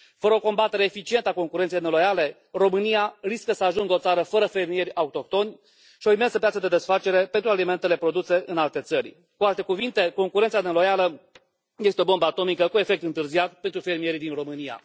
Fără o combatere eficientă a concurenței neloiale, România riscă să ajungă o țară fără fermieri autohtoni și o imensă piață de desfacere pentru alimentele produse în alte țări, cu alte cuvinte, concurența neloială este o bombă atomică cu efect întârziat pentru fermierii din România.